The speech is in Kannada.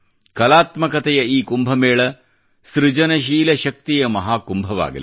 ಕಲಾತ್ಮಕತೆಯ ಈ ಕುಂಭಮೇಳ ಸೃಜನಶೀಲ ಶಕ್ತಿಯ ಮಹಾ ಕುಂಭವಾಗಲಿ